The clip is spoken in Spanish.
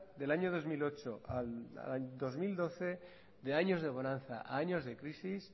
del año dos mil ocho al dos mil doce de años de bonanza a años de crisis